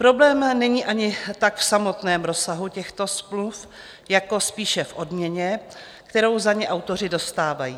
Problém není ani tak v samotném rozsahu těchto smluv jako spíše v odměně, kterou za ně autoři dostávají.